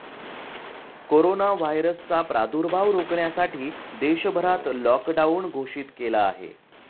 Corona व्हायरसचा प्रादुर्भाव रोखण्यासाठी देशभरात लॉकडाऊन घोषित केला आहे.